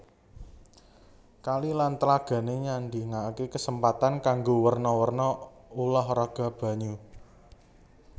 Kali lan tlagané nyadhiakaké kasempatan kanggo werna werna ulah raga banyu